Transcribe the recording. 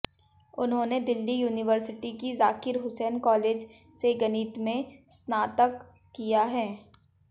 उन्होंने दिल्ली यूनिवर्सिटी की जाकिर हुसैन कॉलेज से गणित में स्नातक किया है